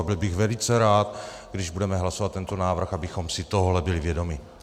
A byl bych velice rád, když budeme hlasovat tento návrh, abychom si tohohle byli vědomi.